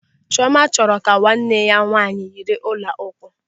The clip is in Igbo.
Chiọma chọrọ ka nwanne ya nwaanyị yiri ọla ụkwụ.